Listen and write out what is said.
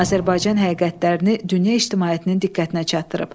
Azərbaycan həqiqətlərini dünya ictimaiyyətinin diqqətinə çatdırıb.